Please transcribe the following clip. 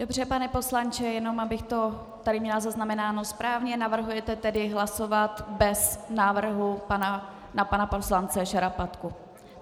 Dobře, pane poslanče, jenom abych to tady měla zaznamenáno správně - navrhujete tedy hlasovat bez návrhu na pana poslance Šarapatku.